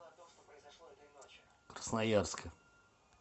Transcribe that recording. красноярска